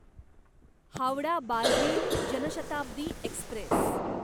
Howrah Barbil Janshatabdi Express